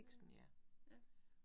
Øh ja